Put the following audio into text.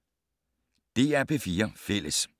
DR P4 Fælles